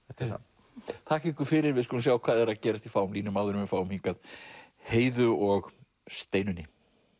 þetta er það þakka ykkur fyrir við skulum sjá hvað er að gerast í fáum línum áður en við fáum hingað Heiðu og Steinunni